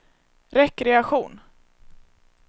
rekreation